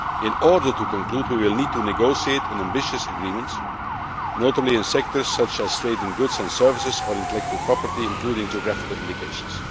In order to conclude, we will need to negotiate an ambitious agreement, notably in sectors such as trade in goods and services, or intellectual property, including geographical indications.